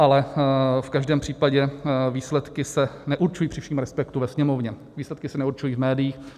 Ale v každém případě výsledky se neurčují při všem respektu ve Sněmovně, výsledky se neurčují v médiích.